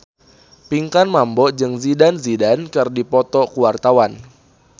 Pinkan Mambo jeung Zidane Zidane keur dipoto ku wartawan